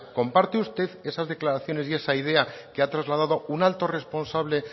comparte usted esas declaraciones y esa idea que ha trasladado un alto responsable